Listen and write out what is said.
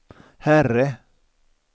herre